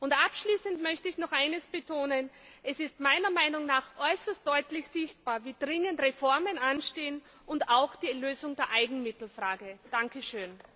Und abschließend möchte ich noch eines betonen Es ist meiner Meinung nach äußerst deutlich sichtbar, wie dringend Reformen und auch die Lösung der Eigenmittelfrage anstehen.